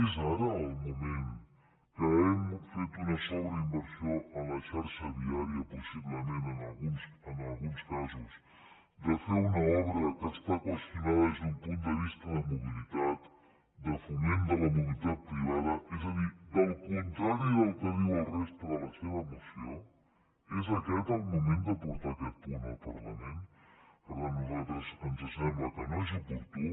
és ara el moment que hem fet una sobreinversió en la xarxa viària possiblement en alguns casos de fer una obra que està qüestionada des d’un punt de vista de mobilitat de foment de la mobilitat privada és a dir del contrari del que diu la resta de la seva moció és aquest el moment de portar aquest punt al parlament per tant a nosaltres ens sembla que no és oportú